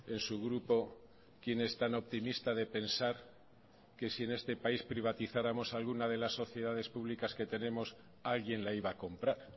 en su grupo quién es tan optimista de pensar que si en este país privatizáramos alguna de las sociedades públicas que tenemos alguien la iba a comprar